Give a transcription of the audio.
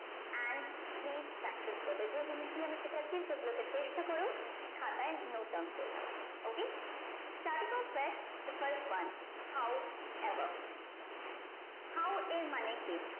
and please practice করবে যে জিনিস গুলো আমি শিখাচ্ছি সেগুলোতে চেষ্টা করো খাতায় note down করে নেওয়ার okay stady the fast one how above how এর মানে কি